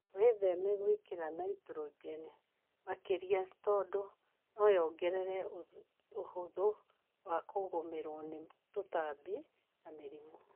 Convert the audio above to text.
Wĩtheme gwĩkĩra naitrogeni makĩria tondũ noyongerere ũhũthũ wa kũgũmĩrwo nĩ tũtambi na mĩrimũ